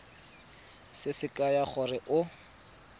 se se kaya gore o